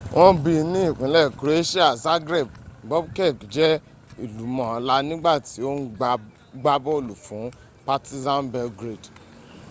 wọ́n bi ní ìpínlẹ̀ croatian zagreb bobek jẹ́ ìlúmọ̀ọ́lá nígbàtí ò ń gbá bọ́ọ̀lù fún partizan belgrade